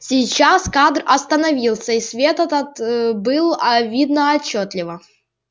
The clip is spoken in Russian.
сейчас кадр остановился и свет этот был а видно отчётливо